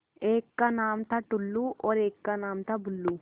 एक का नाम था टुल्लु और एक का नाम था बुल्लु